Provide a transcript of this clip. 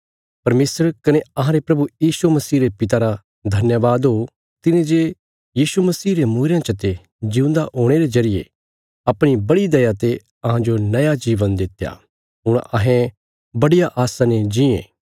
परमेशर कने अहांरे प्रभु यीशु मसीह रे पिता रा धन्यवाद हो तिने जे यीशु मसीह रे मूईरेयां चते जिऊंदा हुणे रे जरिये अपणी बड़ी दया ते अहांजो नया जीवन दित्या हुण अहें बडिया आस्सां ने जीयें